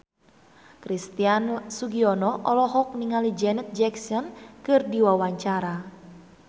Christian Sugiono olohok ningali Janet Jackson keur diwawancara